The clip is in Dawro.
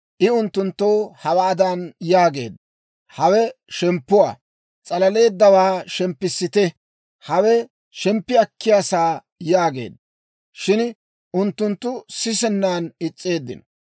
I unttunttoo hawaadan yaageedda; «Hawe shemppuwaa. S'alaleeddawaa shemppissite. Hawe shemppi akkiyaa saa» yaageedda. Shin unttunttu sisennan is's'eeddino.